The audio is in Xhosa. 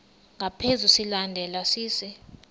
ngaphezu silandelwa sisi